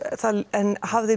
en hafði